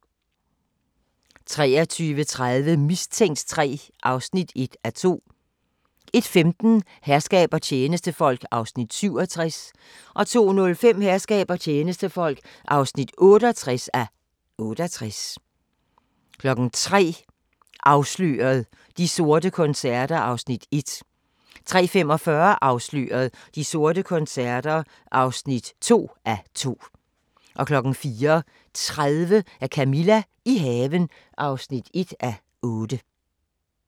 23:30: Mistænkt 3 (1:2) 01:15: Herskab og tjenestefolk (67:68) 02:05: Herskab og tjenestefolk (68:68) 03:00: Afsløret – De sorte koncerter (1:2) 03:45: Afsløret – De sorte koncerter (2:2) 04:30: Camilla – i haven (1:8)